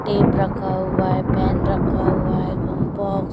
tape रखा हुआ है पेन रखा हुआ है कम्पोस --